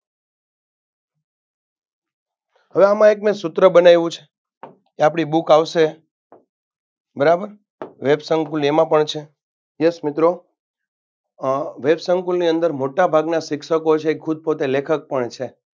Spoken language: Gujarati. હવે આમ મેં એક સુત્ર બનાયવું છે. આપણી book આવશે. બરાબર વેબ સંકૂલ એમાં પણ છે. yes મિત્રો અ વેબ સંકૂલની અંદર મોટા ભાગના શિક્ષકો છે એ ખૂદ પોતે લેખક પણ છે.